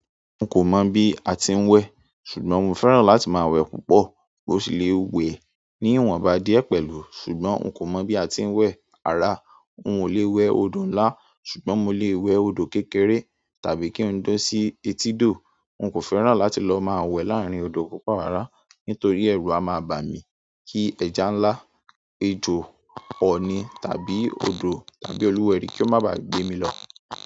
N kò mọ̀ bí a ti ń wẹ, ṣùgbọ́n mo fẹ́ràn láti máa wẹ púpọ̀ bó ti lè wẹ̀ ní ìwọ̀n bá díẹ̀ pẹ̀lú. Ṣùgbọ́n n kò mọ̀ bí a ti ń wẹ ara, n o lè wẹ odò ńlá, ṣùgbọ́n mo lè wẹ odò kékeré tàbí kí n dún sí etídò. N kò fẹ́ràn láti lọ máa wẹ láàárín odò púpọ̀ wárà nítorí ẹrù a máa bà mí kí ẹja ńlá, ejò ọni tàbí odò tàbí olúwẹrí kí ó má ba gbé mí lọ.